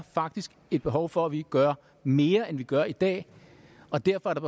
faktisk et behov for at vi gør mere end vi gør i dag og derfor er der